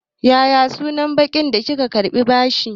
Ya ya sunan bankin da kika karɓi bashi.